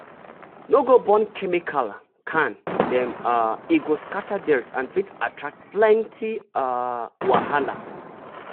no go burn chemical can dem um e go scatter dirt and fit attract plenty um wahala.